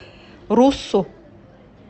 руссу